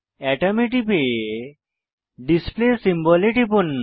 আতম এ টিপে display symbol এ টিপুন